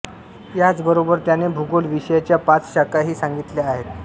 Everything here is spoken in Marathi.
याचबरोबर त्याने भूगोल विषयाच्या पाच शाखा ही सांगितल्या आहेत